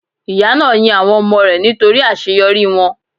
Ìyá náà yin àwọn ọmọ rẹ̀ nítorí àseyorí wọ́n